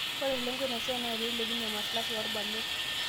Ore lengo ina siai na pee ilepunyie maslahi oo rbarnot